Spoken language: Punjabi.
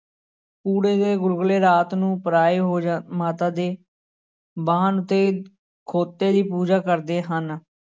ਪੂੜੇ ਤੇ ਗੁਲਗੁਲੇ ਰਾਤ ਨੂੰ ਪਰਾਏ ਹੋ ਜਾ ਮਾਤਾ ਦੇ ਵਾਹਨ ਉੱਤੇ ਖੋਤੇ ਦੀ ਪੂਜਾ ਕਰਦੇ ਹਨ।